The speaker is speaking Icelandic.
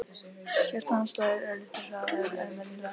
Hjarta hans slær örlitlu hraðar en venjulega.